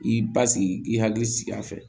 I basigi i k'i hakili sigi a fɛ